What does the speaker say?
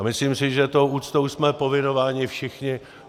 A myslím si, že tou úctou jsme povinováni všichni.